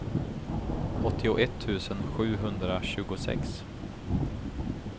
åttioett tusen sjuhundratjugosex